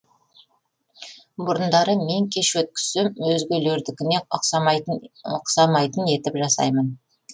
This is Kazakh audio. бұрындары мен кеш өткізсем өзгелердікіне ұқсамайтын етіп жасаймын